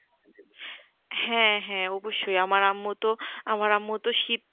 হ্যাঁ হ্যাঁ অবশ্যই আমার আম্মু তো আমার আম্মু তো শীত